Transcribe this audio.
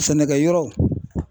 Sɛnɛkɛyɔrɔ